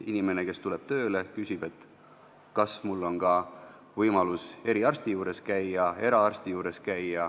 Inimene, kes tuleb tööle, küsib, kas tal on ka võimalus eraarsti juures käia.